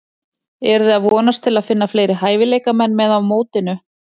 Eruði að vonast til að finna fleiri hæfileikamenn með á mótinu?